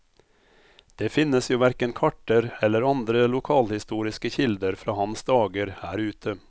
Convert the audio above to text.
Det finnes jo hverken karter eller andre lokalhistoriske kilder fra hans dager her ute.